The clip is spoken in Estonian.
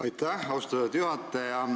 Aitäh, austatud juhataja!